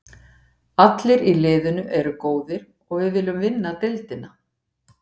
Allir í liðinu eru góðir og við viljum vinna deildina.